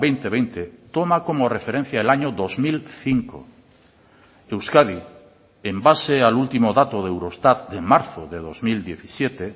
dos mil veinte toma como referencia el año dos mil cinco euskadi en base al último dato de eurostat de marzo de dos mil diecisiete